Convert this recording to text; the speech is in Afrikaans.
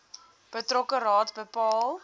betrokke raad bepaal